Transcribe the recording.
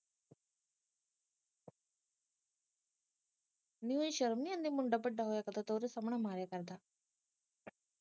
ਨਹੀਂ ਇਹਨੂੰ ਸ਼ਰਮ ਨਹੀਂ ਆਉਂਦੀ ਮੁੰਡਾ ਵੱਡਾ ਹੋਇਆ ਪਿਆ ਤੇ ਓਹਦੇ ਸਾਹਮਣੇ ਮਾਰੀ ਜਾਂਦਾ